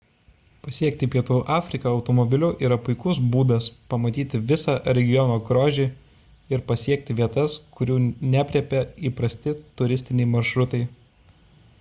pasiekti pietų afriką automobiliu yra puikus būdas pamatyti visą regiono grožį ir pasiekti vietas kurių neaprėpia įprasti turistiniai maršrutai